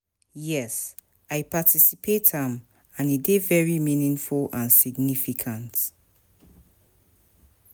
Yes, i participate am, and e dey very meaningful and significant.